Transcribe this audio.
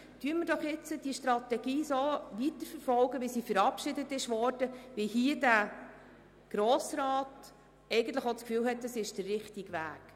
Lassen Sie uns doch die Strategie jetzt so weiterverfolgen, wie sie verabschiedet worden ist und wie der Grosse Rat eigentlich das Gefühl hat, es sei der richtige Weg.